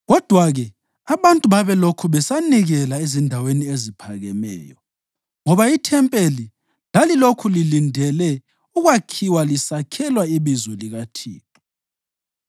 Kodwa-ke, abantu babelokhu besanikelela ezindaweni eziphakemeyo ngoba ithempeli lalilokhu lilindele ukwakhiwa lisakhelwa ibizo likaThixo.